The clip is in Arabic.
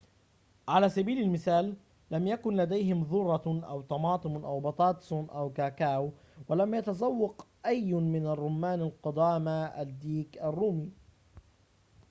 على سبيل المثال لم يكن لديهم ذرة أو طماطم أو بطاطس أو كاكاو ولم يتذوق أي من الرومان القدامى الديك الرومي